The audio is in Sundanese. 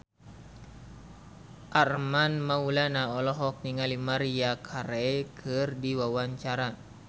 Armand Maulana olohok ningali Maria Carey keur diwawancara